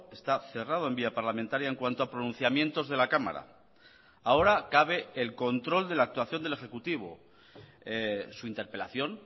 esta cerrado en vía parlamentaria en cuanto a pronunciamientos de la cámara ahora cabe el control de la actuación del ejecutivo su interpelación